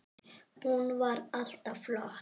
Hún var alltaf flott.